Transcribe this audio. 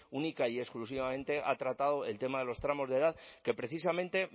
única y exclusivamente ha tratado el tema de los tramos de edad que precisamente